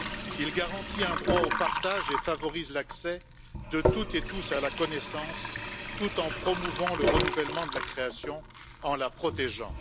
Il garantit un droit au partage et favorise l'accès de toutes et tous à la connaissance tout en promouvant le renouvellement de la création en la protégeant.